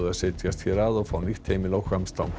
setjast hér að og fá nýtt heimili á Hvammstanga